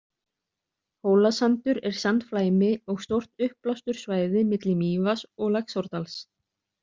Hólasandur er sandflæmi og stórt uppblásturssvæði milli Mývatns og Laxárdals.